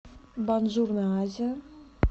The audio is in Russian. бонжурно азия